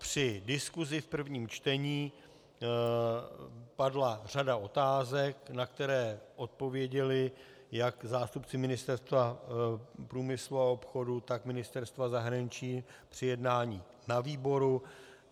Při diskusi v prvním čtení padla řada otázek, na které odpověděli jak zástupci Ministerstva průmyslu a obchodu, tak Ministerstva zahraničí při jednání na výboru.